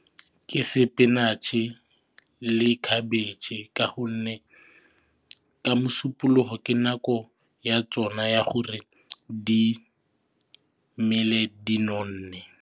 Ke spinach-e le khabetšhe ka gonne ka mosupologo ke nako ya tsona ya gore di mele di nonne.